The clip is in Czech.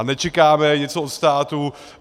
A nečekáme něco od státu.